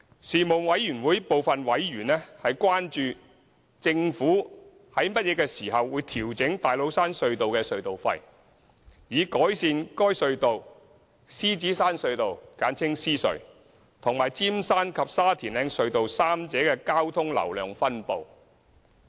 事務委員會部分委員關注，政府會於何時調整大老山隧道的隧道費，以改善該隧道、獅子山隧道和尖山及沙田嶺隧道三者的交通流量分布。